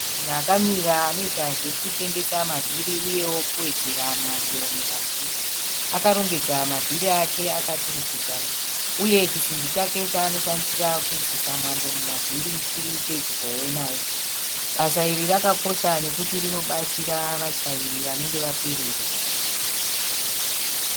Munhu akamira anoita zvekutengesa mavhiri uyewo kuwedzera mwando mumavhiri. Akarongedza mavhiri ake akaturikidzana uye chisimbi chake chaanodhandisa kuiisisa mwando mumavhiri chiri pedyowo naye. Basa iri rakakosha nekuti rinobatsira vatyairi vanenge vapererwa